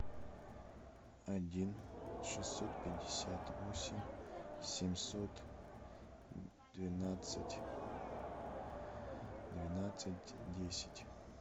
один шестьсот пятьдесят восемь семьсот двенадцать двенадцать десять